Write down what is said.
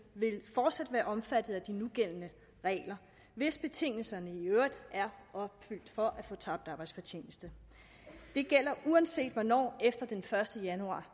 vil fortsat være omfattet af de nugældende regler hvis betingelserne i øvrigt er opfyldt for at få tabt arbejdsfortjeneste det gælder uanset hvornår efter den første januar